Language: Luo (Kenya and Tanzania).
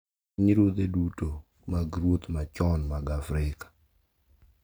E pinyruodhe duto mag ruoth machon mag Afrika,